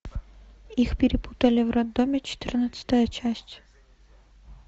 их перепутали в роддоме четырнадцатая часть